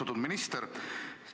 Austatud minister!